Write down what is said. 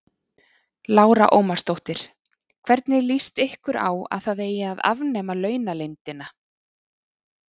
Lára Ómarsdóttir: Hvernig lýst ykkur á að það eigi að afnema launaleyndina?